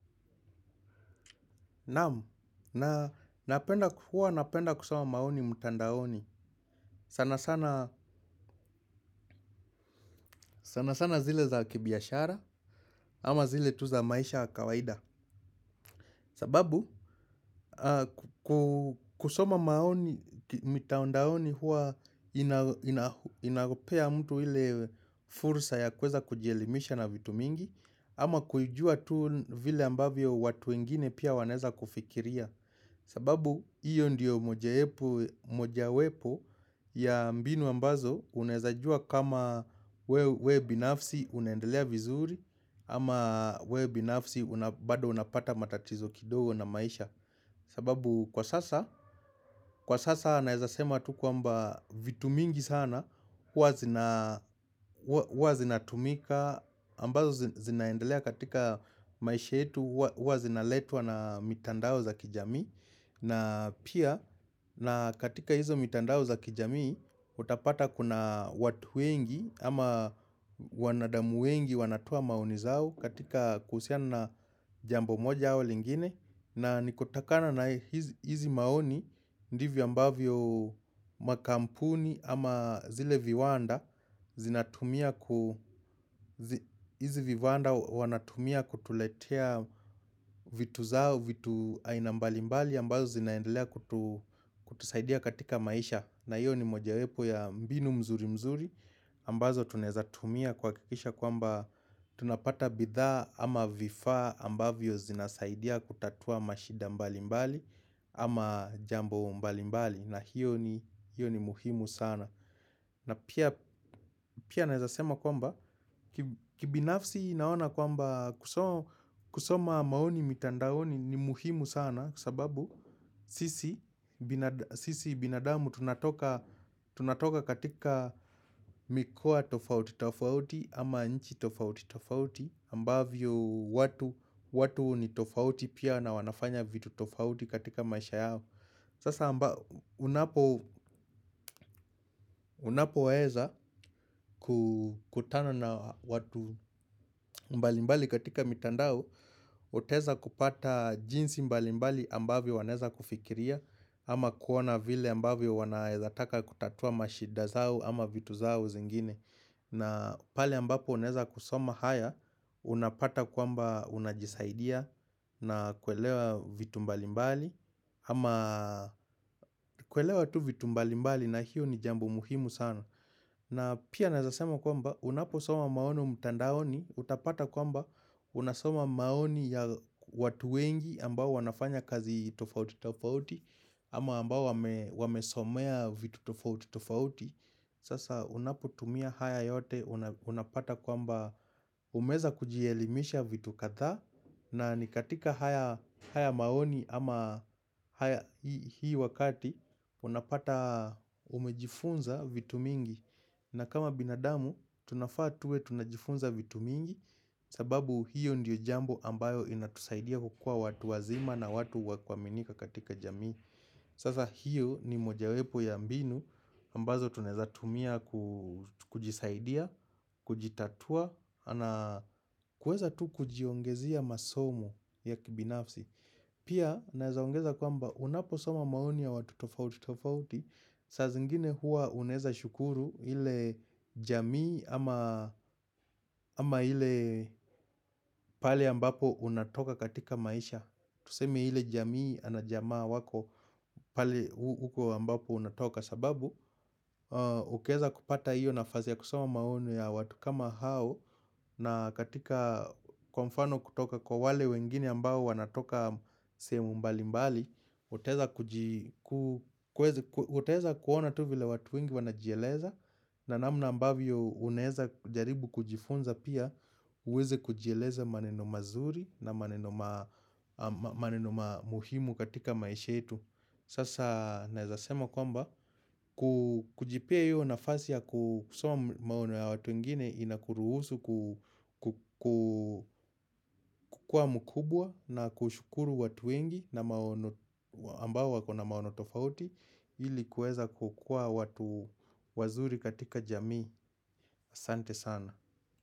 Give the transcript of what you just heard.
Naam, huwa napenda kusoma maoni mtandaoni sana sana zile za kibiashara ama zile tu za maisha ya kawaida sababu kusoma maoni mtandaoni huwa inapea mtu ile fursa ya kuweza kujielimisha na vitu mingi ama kujua tu vile ambavyo watu wengine pia wanaeza kufikiria sababu hiyo ndiyo mojawepo ya mbinu ambazo unaezajua kama we binafsi unaendelea vizuri ama we binafsi bado unapata matatizo kidogo na maisha. Sababu kwa sasa, kwa sasa naeza sema tu kwamba vitu mingi sana, huwa zinatumika, ambazo zinaendelea katika maisha yetu, huwa zinaletwa na mitandao za kijamii. Na pia na katika hizo mitandao za kijamii utapata kuna watu wengi ama wanadamu wengi wanatoa maoni zao katika kuhusiana na jambo moja awa lingine. Na nikutakana na hizi maoni ndivyo ambavyo makampuni ama zile viwanda zinatumia ku hizi viwanda wanatumia kutuletea vitu zao vitu ainambali mbali ambazo zinaendelea kutusaidia katika maisha na hiyo ni mojawepo ya mbinu mzuri mzuri ambazo tunaezatumia kuhakikisha kwamba tunapata bidhaa ama vifaa ambavyo zinasaidia kutatua mashida mbali mbali ama jambo mbali mbali na hiyo ni muhimu sana. Na pia naezasema kwamba kibinafsi naona kwamba kusoma maoni mitandaoni ni muhimu sana kwa sababu sisi binadamu tunatoka katika mikoa tofauti tofauti ama nchi tofauti tofauti ambavyo watu ni tofauti pia na wanafanya vitu tofauti katika maisha yao Sasa unapoweza kutana na watu mbalimbali katika mitandao utaeza kupata jinsi mbalimbali ambavyo wanaeza kufikiria ama kuona vile ambavyo wanaezataka kutatua mashida zao ama vitu zao zingine na pale ambapo unaeza kusoma haya, unapata kwamba unajisaidia na kuelewa vitu mbali mbali ama kuelewa tu vitu mbali mbali na hiyo ni jambo muhimu sana na pia naeza sema kwamba unaposoma maoni mtandaoni, utapata kwamba unasoma maoni ya watu wengi ambao wanafanya kazi tofauti tofauti ama ambao wamesomea vitu tofauti tofauti Sasa unapotumia haya yote unapata kwamba umeweza kujielimisha vitu kadha na ni katika haya maoni ama haiya hii wakati unapata umejifunza vitu mingi na kama binadamu tunafaa tuwe tunajifunza vitu mingi sababu hiyo ndiyo jambo ambayo inatusaidia hukua watu wazima na watu wa kuaminika katika jamii Sasa hiyo ni mojawepo ya mbinu ambazo tunaeza tumia kujisaidia, kujitatua, na kuweza tu kujiongezia masomo ya kibinafsi. Pia naeza ongeza kwamba unaposoma maoni ya watu tofauti tofauti, saa zingine huwa unaeza shukuru ile jamii ama ile pale ambapo unatoka katika maisha. Tuseme ile jamii ama jamaa wako pale huko ambapo unatoka sababu Ukieza kupata hiyo nafasi ya kusoma maono ya watu kama hao na katika kwa mfano kutoka kwa wale wengine ambao wanatoka sehemu mbali mbali Utaeza kuona tu vile watu wengi wanajieleza na namna ambavyo unaeza jaribu kujifunza pia uweze kujieleza maneno mazuri na maneno muhimu katika maisha yetu. Sasa naeza sema kwamba, kujipea hio nafasi ya kusoma maoni ya watu wengine inakuruhusu kukua mkubwa na kushukuru watu wengi ambao wako na maono tofauti ili kuweza kukua watu wazuri katika jamii asante sana.